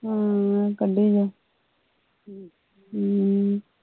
ਹਮ ਕੱਢੀ ਜਾਓ ਹਮ